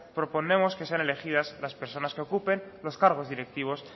proponemos que sean elegidas las personas que ocupen los cargos directivos